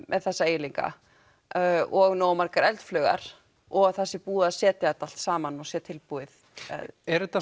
með þessa eiginleika og nógu margar eldflaugar og að það sé búið að setja þetta allt saman og sé tilbúið er þetta